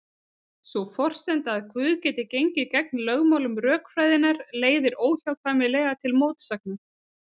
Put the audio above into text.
Sú forsenda að Guð geti gengið gegn lögmálum rökfræðinnar leiðir óhjákvæmilega til mótsagnar.